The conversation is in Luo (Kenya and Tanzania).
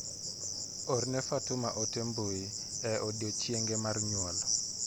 Orne Fatuma ote mbui e odiochieng'e mar nyuol.